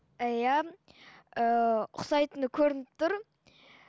і иә ыыы ұқсайтыны көрініп тұр